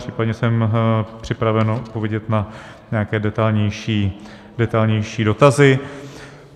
Případně jsem připraven odpovědět na nějaké detailnější dotazy.